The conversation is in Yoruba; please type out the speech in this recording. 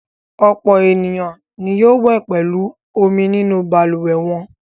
Ọ̀pọ̀ ènìyàn ni yóò wẹ̀ pẹ̀lú omi nínú balùwẹ̀ wọn.